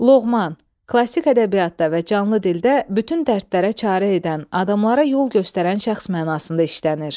Loğman, klassik ədəbiyyatda və canlı dildə bütün dərdlərə çarə edən, adamlara yol göstərən şəxs mənasında işlənir.